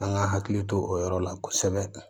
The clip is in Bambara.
An ka hakili to o yɔrɔ la kosɛbɛ